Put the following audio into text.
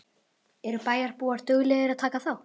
Eru bæjarbúar duglegir að taka þátt?